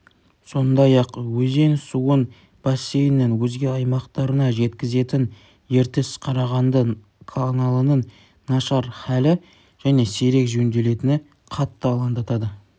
сондай-ақ өзен суын бассейннің өзге аймақтарына жеткізетін ертіс-қарағанды каналының нашар халі және сирек жөнделетіні қатты алаңдатады